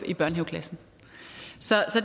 i børnehaveklassen så